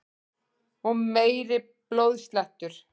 Og meiri blóðslettur!